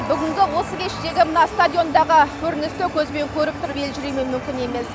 бүгінгі осы кештегі мына стадиондағы көріністі көзбен көріп тұрып елжіремеу мүмкін емес